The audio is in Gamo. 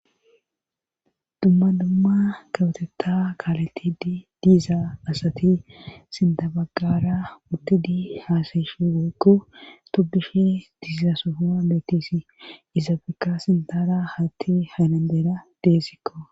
dumma dumma kawotetta kaaletid diiza asati sintabaggara uttidi haasayishu guuku tobushi diizasofoma beetisi izabekka sintara hatti hanandeera deesikko